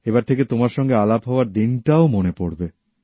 এবার থেকে তোমার সঙ্গে আলাপ হওয়ার দিনটাও মনে পড়বে